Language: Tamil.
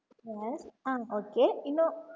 ஆஹ் okay இன்னும்